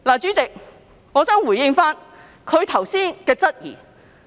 主席，我想回應她剛才提出的質疑。